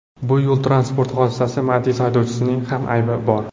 Bu yo‘l-transport hodisasida Matiz haydovchisining ham aybi bor.